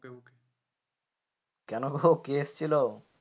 কেন গো কে এসেছিলো?